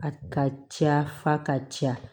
A ka ca fa ka ca